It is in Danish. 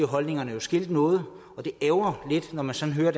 holdningerne jo skilt noget og det ærgrer lidt når man sådan hører